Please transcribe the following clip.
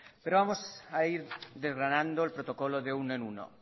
pero vamos a ir desgranando el protocolo de uno en uno